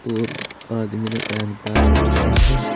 और आदमी ने बैग टांग रखे हैं।